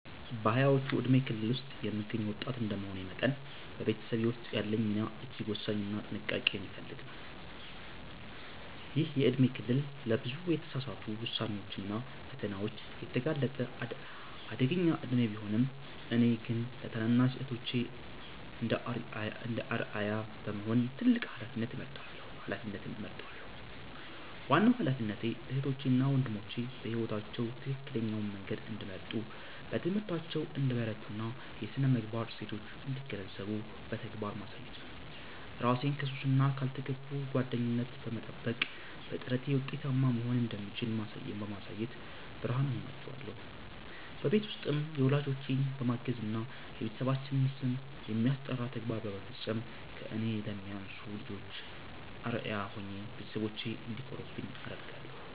በሃያዎቹ የእድሜ ክልል ውስጥ የምገኝ ወጣት እንደመሆኔ መጠን፤ በቤተሰቤ ውስጥ ያለኝ ሚና እጅግ ወሳኝና ጥንቃቄ የሚፈልግ ነው። ይህ የእድሜ ክልል ለብዙ የተሳሳቱ ውሳኔዎችና ፈተናዎች የተጋለጠ አደገኛ እድሜ ቢሆንም፤ እኔ ግን ለታናናሽ እህቶቼ እንደ አርአያ በመሆን ትልቅ ኃላፊነት እወጣለሁ። ዋናው ኃላፊነቴ እህቶቼ እና ወንድሞቼ በሕይወታቸው ትክክለኛውን መንገድ እንዲመርጡ፣ በትምህርታቸው እንዲበረቱና የሥነ-ምግባር እሴቶችን እንዲገነዘቡ በተግባር ማሳየት ነው። እራሴን ከሱስና ካልተገቡ ጓደኝነት በመጠበቅ፤ በጥረቴ ውጤታማ መሆን እንደምችል በማሳየት ብርሃን እሆናቸዋለሁ። በቤት ውስጥም ወላጆቼን በማገዝና የቤተሰባችንን ስም የሚያስጠራ ተግባር በመፈጸም ከእኔ ለሚያንሱ ልጆች አርአያ ሆኜ ቤተሰቦቼ እንዲኮሩብኝ አደርጋለሁ።